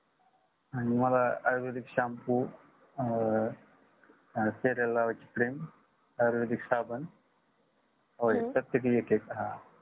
आणि मला आयुर्वेदिक shampoo अं आणि चेहेऱ्याला लावायची cream आयुर्वेदिक साबण oil प्रत्येकी एक एक